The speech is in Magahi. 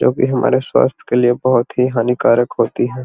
जो की हमारे स्वास्थ के लिए बहुत ही हानिकारक होती है।